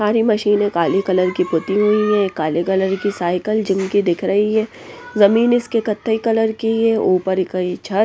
सारी मशीनें काले कलर की पुती हुई हैं काले कलर की साइकिल जिम की दिख रही हैं जमीन इसके कथे कलर की हैं ऊपर ई क ई छत --